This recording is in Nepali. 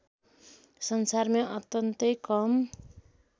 संसारमै अत्यन्तै कम